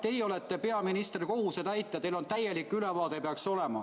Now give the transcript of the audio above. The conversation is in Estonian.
Teie olete peaministri kohusetäitja, teil peaks olema täielik ülevaade.